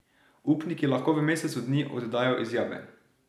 Upniki lahko v mesecu dni oddajo izjave.